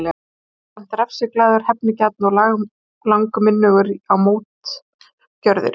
Hann var jafnframt refsiglaður, hefnigjarn og langminnugur á mótgjörðir.